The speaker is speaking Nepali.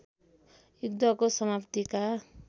युद्धको समाप्तिका